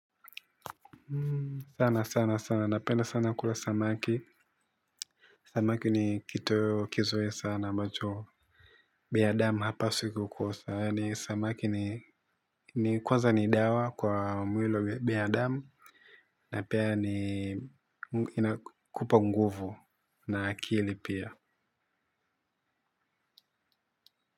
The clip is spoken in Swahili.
Sana sana sana napenda sana kula samaki samaki ni kitoweo kizuri sana ambacho binadamu hapaswi kukosa ni samaki ni ni kwanza ni dawa kwa mwilo binadamu na pia ni inakupa nguvu na akili pia.